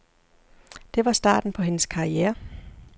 Det var starten på hendes karriere.